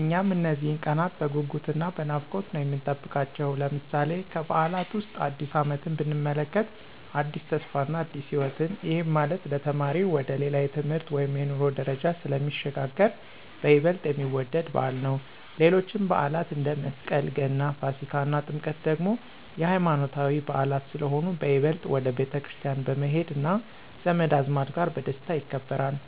እኛም እነዚህን ቀናት በጉጉት እና በናፍቆት ነው የምንጠብቃቸው። ለምሳሌ፦ ከበዓላት ዉስጥ አዲስ አመትን ብንመለከት አዲስ ተስፋ እና አዲስ ህይወትን፤ ይሄም ማለት ለተማሪው ወደ ሌላ የትምህርት ወይም የኑሮ ደረጃ ስለሚሸጋገር በይበልጥ የሚወደድ በዓል ነው። ሌሎችም በዓላት አንደ፦ መስቀል፣ ገና፣ ፋሲካ እና ጥምቀት ደግሞ የሃይማኖታዊ በዓላት ስለሆኑ በይበልጥ ወደ ቤተክርስቲያን በመሄድ እና ዘመድ አዝማድ ጋር በደስታ ይከበራል።